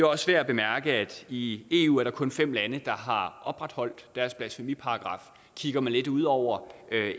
også værd at bemærke at i eu er der kun fem lande der har opretholdt deres blasfemiparagraf kigger man lidt ud over